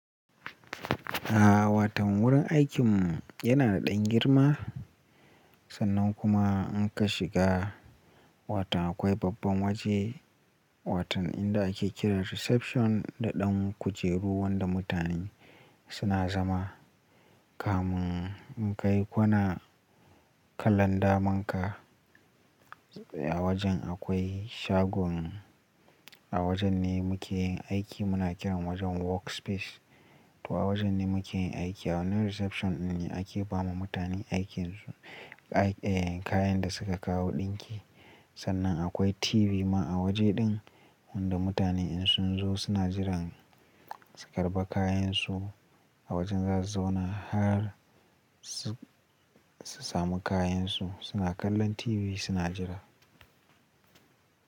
A wato wurin aikinmu yana da ɗan girma. Sannan kuma in ka shiga wato akwai babban waje. Wato inda ake kiran reception da ɗan kujeru wadda mutane suna zama. Kamun in ka yi kwana kallon daman ka a wajen akwai shagon a wajen ne muke yin aiki. Muna kiran wajen workspace to a wajen ne muke yin aiki. A wani reception ne ake ba ma mutane aikinsu, eh, kayan da suka kawo ɗinki. Sannan akwai TV ma a waje ɗin wadda mutane in sun zo suna jiran su karɓi kayansu a wajen zasu zauna har su samu kayansu suna kallon TV suna jira.